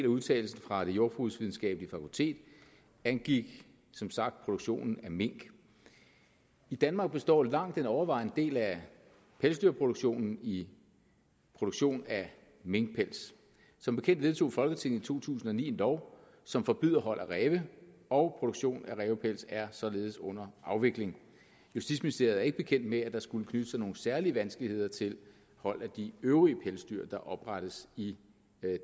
udtalelsen fra det jordbrugsvidenskabelige fakultet angik som sagt produktionen af mink i danmark består langt den overvejende del af pelsdyrproduktionen i produktion af minkpels som bekendt vedtog folketinget i to tusind og ni en lov som forbyder hold af ræve og produktionen af rævepelse er således under afvikling justitsministeriet er ikke bekendt med at der skulle knytte sig nogle særlige vanskeligheder til hold af de øvrige pelsdyr der oprettes i